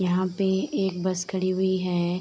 यहाँ पे एक बस खड़ी हुई है।